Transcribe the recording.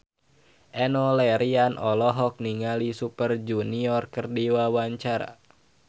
Enno Lerian olohok ningali Super Junior keur diwawancara